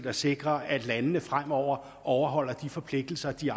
at sikre at landene fremover overholder de forpligtelser de